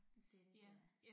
Det lidt øh